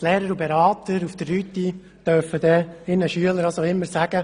Die Lehrer und Berater auf der Rütti dürfen dann ihren Schülern oder wem auch immer sagen: